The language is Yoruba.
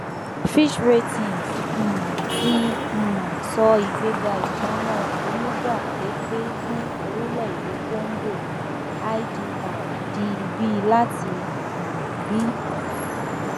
fitch ratings um ti um sọ ìgbéga ìpamọ onígbà pẹpẹ fún orílẹèdè kóngò idr di b láti um b